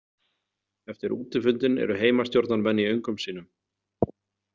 Eftir útifundinn eru Heimastjórnarmenn í öngum sínum.